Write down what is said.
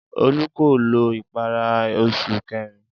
Olú kò lo ìpara ní oṣù kẹrin.